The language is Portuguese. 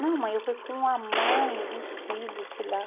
Não mãe, eu vou com a mãe dos filhos, sei lá.